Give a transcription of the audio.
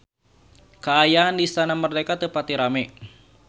Kaayaan di Istana Merdeka teu pati rame